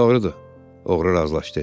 Doğrudur, oğru razılaşdı.